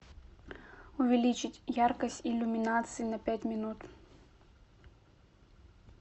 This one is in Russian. увеличить яркость иллюминации на пять минут